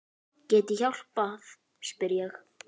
Get ég hjálpað spyr ég.